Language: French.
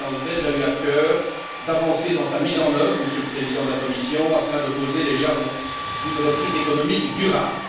La Présidence belge a eu à cœur d'avancer dans sa mise en œuvre, Monsieur le Président de la Commission, afin de poser les jalons d'une reprise économique durable.